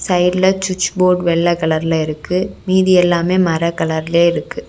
சைட்ல சுட்ச் போர்ட் வெல்ல கலர்ல இருக்கு மீதி எல்லாமே மர கலர்லே இருக்கு.